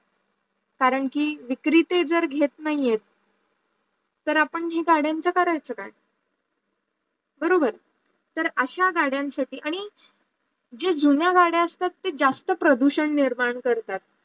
करण की विक्रीटर ते घेत नाही आहेत तर आपण हे गाड्याचा करायचा काय? बरोबर, तर अश्या गाड्यांसाठी आणी जे जुन्या गाड्या असत ते जास्त प्रदूषण निर्मर करतात